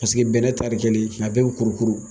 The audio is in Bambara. Paseke bɛnɛ tari kelen, a bɛɛ bi kurukuru